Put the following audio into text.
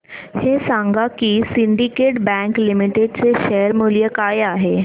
हे सांगा की सिंडीकेट बँक लिमिटेड चे शेअर मूल्य काय आहे